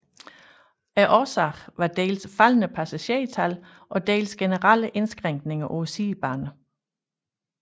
Årsagen var dels faldende passagertal og dels generelle indskrænkninger på sidebanerne